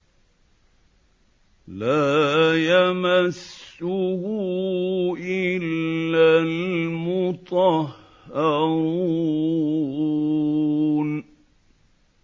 لَّا يَمَسُّهُ إِلَّا الْمُطَهَّرُونَ